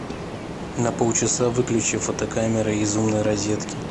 на полчаса выключи фотокамера из умной розетки